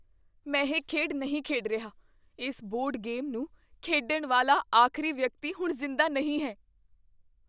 ਮੈਂ ਇਹ ਖੇਡ ਨਹੀਂ ਖੇਡ ਰਿਹਾ। ਇਸ ਬੋਰਡ ਗੇਮ ਨੂੰ ਖੇਡਣ ਵਾਲਾ ਆਖਰੀ ਵਿਅਕਤੀ ਹੁਣ ਜ਼ਿੰਦਾ ਨਹੀਂ ਹੈ।